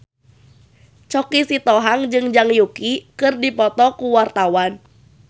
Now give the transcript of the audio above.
Choky Sitohang jeung Zhang Yuqi keur dipoto ku wartawan